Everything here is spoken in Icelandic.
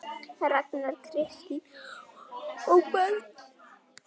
Ragnar, Kristín og börn.